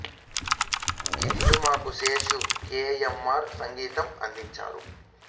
ఈ సినిమాకు Seshu K M R సంగీతం అందించాడు